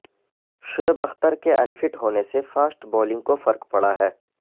شعیب اختر کے unfit ہونے سے فاسٹ بولنگ کو فرق پڑا ہے